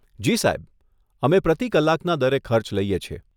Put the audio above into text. જી સાહેબ, અમે પ્રતિ કલાકના દરે ખર્ચ લઈએ છીએ.